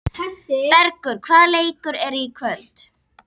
Bergur, hvaða leikir eru í kvöld?